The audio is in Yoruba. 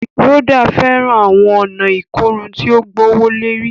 Rhoda fẹràn awọn ọna ikorun ti o gbowolori